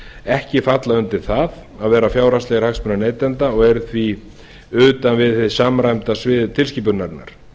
ekki falla undir það að vera fjárhagslegir hagsmunir neytenda og eru því utan við hið samræmda svið tilskipunarinnar